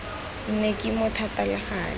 nne kima thata le gale